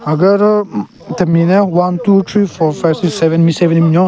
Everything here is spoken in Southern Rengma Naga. Agu aro temi le one two three four five six seven me seven ne binyon.